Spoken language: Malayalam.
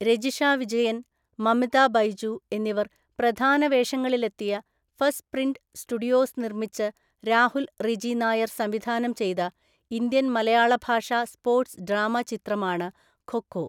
രജിഷ വിജയൻ, മമിത ബൈജു എന്നിവർ പ്രധാന വേഷങ്ങളിലെത്തിയ ഫസ്റ്റ് പ്രിന്റ് സ്റ്റുഡിയോസ് നിർമ്മിച്ച് രാഹുൽ റിജി നായർ സംവിധാനം ചെയ്ത ഇന്ത്യൻ മലയാള ഭാഷാ സ്പോർട്സ് ഡ്രാമ ചിത്രമാണ് ഖോ ഖോ.